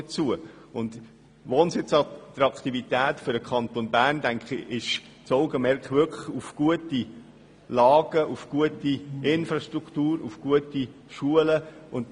Bei der Wohnsitzattraktivität sollten wir das Augenmerk auf gute Wohnlagen, eine gute Infrastruktur und gute Schulen richten.